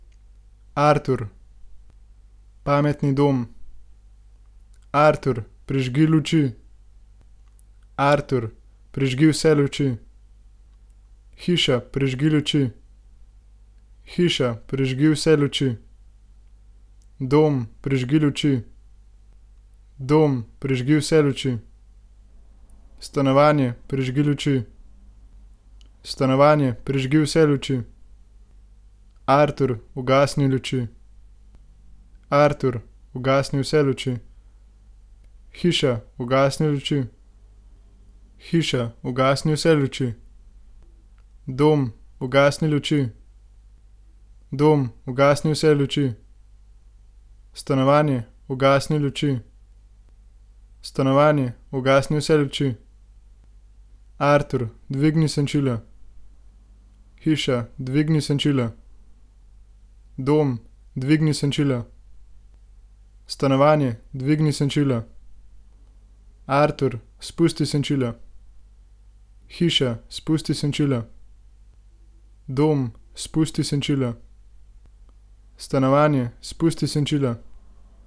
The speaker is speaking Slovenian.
Artur. Pametni dom. Artur, prižgi luči. Artur, prižgi vse luči. Hiša, prižgi luči. Hiša, prižgi vse luči. Dom, prižgi luči. Dom, prižgi vse luči. Stanovanje, prižgi luči. Stanovanje, prižgi vse luči. Artur, ugasni luči. Artur, ugasni vse luči. Hiša, ugasni luči. Hiša, ugasni vse luči. Dom, ugasni luči. Dom, ugasni vse luči. Stanovanje, ugasni luči. Stanovanje, ugasni vse luči. Artur, dvigni senčila. Hiša, dvigni senčila. Dom, dvigni senčila. Stanovanje, dvigni senčila. Artur, spusti senčila. Hiša, spusti senčila. Dom, spusti senčila. Stanovanje, spusti senčila.